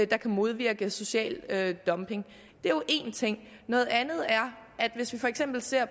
der kan modvirke social dumping det er jo én ting noget andet er at hvis vi for eksempel ser